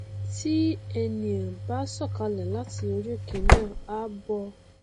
tí ènìà bá sọkalẹ láti orí òkè náà á bọ